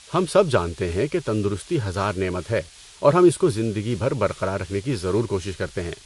ہم سب جانتے ہیں کہ تندرستی ہزار نعمت ہے، اور ہم اس کو زندگی بھر برقرار رکھنے کی ضرور کوشش کرتے ہیں۔